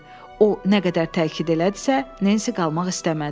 O nə qədər təkid elədisə, Nensi qalmaq istəmədi.